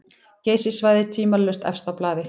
Geysissvæðið tvímælalaust efst á blaði.